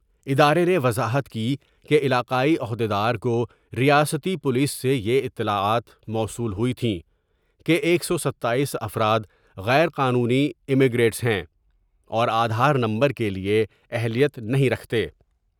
ادارہ نے وضاحت کی کہ علاقائی عہد یدار کوریاستی پولیس سے یہ اطلاعات موصول ہوئی تھی کہ ایک سو ستاییس افراد غیر قانونی ایمگریٹس ہیں اور آدھا نمبر کے لیے اہلیت نہیں رکھتے ۔